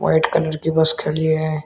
Red colour की bus खड़ी है।